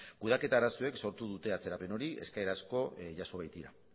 kudeaketa arazoek sortu dute atzerapen hori eskaera asko jaso baitira